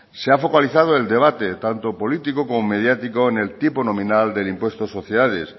se ha focalizado el debate tanto político como mediático en el tipo nominal del impuesto de sociedades